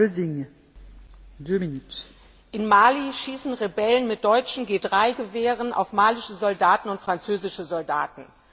Frau Präsidentin! In Mali schießen Rebellen mit deutschen G3 Gewehren auf malische Soldaten und französische Soldaten.